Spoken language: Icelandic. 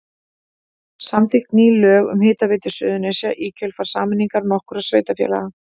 Samþykkt ný lög um Hitaveitu Suðurnesja í kjölfar sameiningar nokkurra sveitarfélaga.